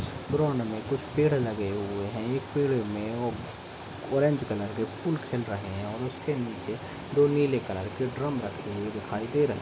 Ground में कुछ पेड़ लगे हुए है एक पेड़ में ऑरेंज कलर के फूल खिल रहे हैं और उसके नीचे दो नीले कलर के ड्रम रखे हुए दिखाई दे रहे हैं ।